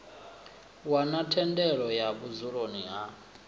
wana thendelo ya vhudzulo ha